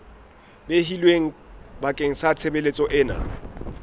behilweng bakeng sa tshebeletso ena